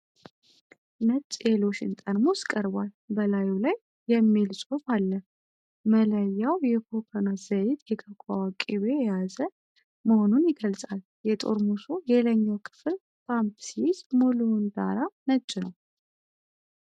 ነጭ የሎሽን ጠርሙስ ቀርቧል፤ በላዩ ላይ "Dove body love" የሚል ጽሑፍ አለ። መለያው የኮኮናት ዘይትና የኮኮዋ ቅቤን የያዘ "Deeply restoring Soin restaurateur LOTION" መሆኑን ይገልጻል። የጠርሙሱ የላይኛው ክፍል ፓምፕ ሲይዝ፣ ሙሉው ዳራ ነጭ ነው።